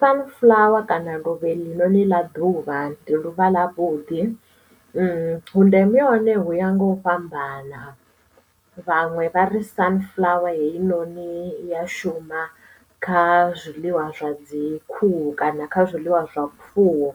Sunflower kana luvha eḽi noni ḽa ḓuvha ndi luvha ḽa vhuḓi vhundeme ha hone hu ya nga u fhambana vhaṅwe vha ri sunflower heinoni ya shuma kha zwiḽiwa zwa dzi khuhu kana kha zwiḽiwa zwa zwifuwo